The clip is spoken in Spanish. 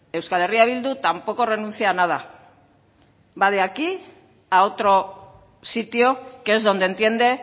euskal herria bildu tampoco renuncia a nada va de aquí a otro sitio que es donde entiende